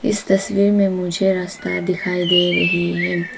इस तस्वीर में मुझे रास्ता दिखाई दे रही है।